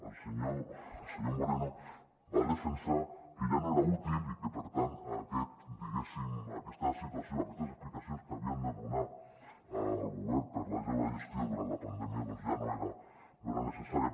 el senyor moreno va defensar que ja no era útil i que per tant diguéssim aquesta situació aquestes explicacions que havia de donar el govern per la seva gestió durant la pandèmia doncs ja no eren necessàries